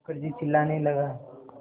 मुखर्जी चिल्लाने लगा